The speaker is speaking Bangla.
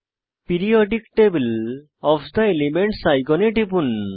periodic table of the elements আইকনে টিপুন